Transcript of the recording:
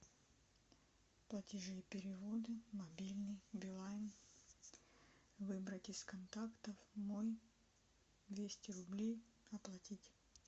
платежи и переводы мобильный билайн выбрать из контактов мой двести рублей оплатить